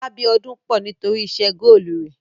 Ọlá Bíọ́dún pọ̀ nítórì iṣẹ́ góòlù rẹ̀.